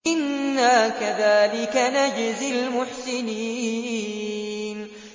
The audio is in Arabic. إِنَّا كَذَٰلِكَ نَجْزِي الْمُحْسِنِينَ